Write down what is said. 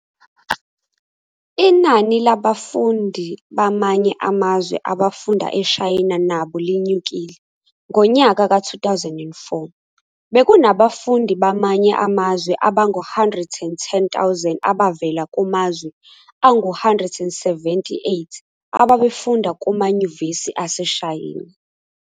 Inani labafundi bamanye amazwe abafunda eShayina nabo linyukile, ngonyaka ka 2004, bekunabafundi bamanye amazwe abangu 110 000 abavela kumazwe angu 178 ababefunda kumayunivesithi aseShayina.